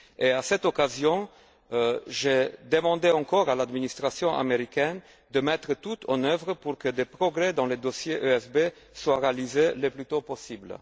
À cette occasion, j'ai demandé encore à l'administration américaine de mettre tout en œuvre pour que des progrès dans le dossier ESB soient réalisés le plus tôt possible.